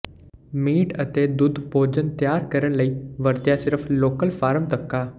meat ਅਤੇ ਦੁੱਧ ਭੋਜਨ ਤਿਆਰ ਕਰਨ ਲਈ ਵਰਤਿਆ ਸਿਰਫ ਲੋਕਲ ਫਾਰਮ ਤੱਕ ਆ